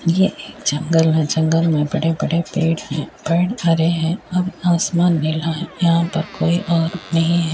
ये एक जंगल है जंगल मे बड़े-बड़े पेड़ हैं पेड़ हरे है और आसमान नीला हैं यहाँ पर कोई और नहीं है।